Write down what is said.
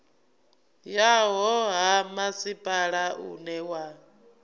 yaho ha masipala une wa